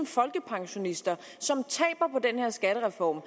folkepensionister som taber på den her skattereform